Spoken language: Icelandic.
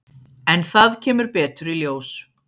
En það kemur betur í ljós.